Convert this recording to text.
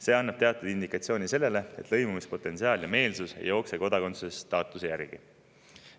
See annab teatud indikatsiooni, et lõimumispotentsiaal ja meelsus ei jookse kodakondsusstaatuse järgi.